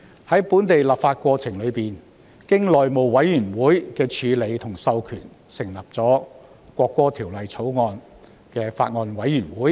在本地立法過程中，經內務委員會授權成立了法案委員會。